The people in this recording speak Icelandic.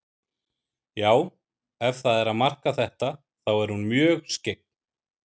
Já, ef það er að marka þetta, þá er hún mjög skyggn.